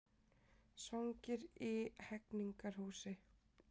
Svangir í Hegningarhúsi